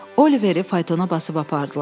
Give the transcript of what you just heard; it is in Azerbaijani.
Oliveri faytona basıb apardılar.